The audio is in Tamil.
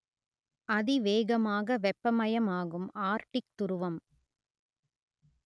அதிவேகமாக வெப்பமயமாகும் ஆர்க்டிக் துருவம்